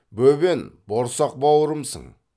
бөбен борсақ бауырымсың